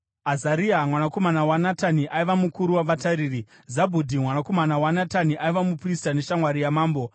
Azaria mwanakomana waNatani aiva mukuru wavatariri; Zabhudhi mwanakomana waNatani aiva muprista neshamwari yamambo;